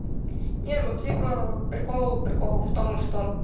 ну не типа прикол прикол в том что